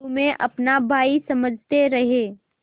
तुम्हें अपना भाई समझते रहे